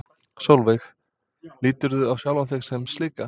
Sólveig: Líturðu á sjálfa þig sem slíka?